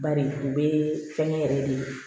Bari u bɛ fɛnkɛ yɛrɛ de